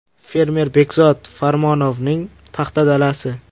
Fermer Bekzod Farmonovning paxta dalasi.